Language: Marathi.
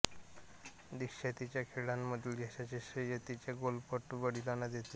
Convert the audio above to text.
दीक्षा तिच्या खेळामधील यशाचे श्रेय तिच्या गोल्फपटू वडिलांना देते